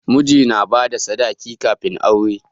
Miji na bada sadaki kafin aure